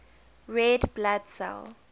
red blood cell